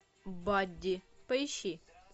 бадди поищи